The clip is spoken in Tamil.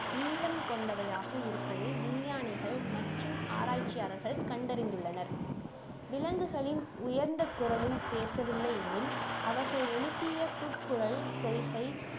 நீளம் கொண்டவையாக இருப்பது விஞ்ஞானிகள் மற்றும் ஆராய்ச்சியாளர்கள் கண்டறிந்துள்ளனர் விலங்குகளின் உயர்ந்த குரலில் பேசவில்லை எனில் அவர்கள் எழுப்பிய கூக்குரல் செய்கை